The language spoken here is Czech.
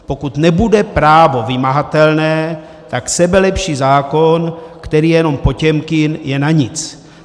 Pokud nebude právo vymahatelné, tak sebelepší zákon, který je jenom Potěmkin, je na nic.